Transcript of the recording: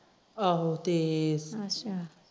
ਆਹੋ ਤੇ ਅੱਛਾ